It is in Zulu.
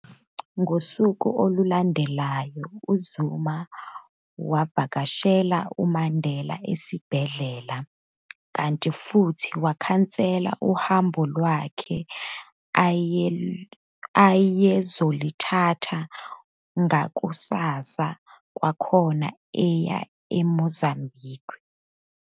Ngosuku olulandelayo, uZuma wavakashela uMandela esibhedlela, kanti futhi wakhansela nohambo lwakhe ayezoluthatha ngakusasa kwakhona aye eMozambique.